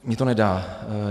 Mně to nedá.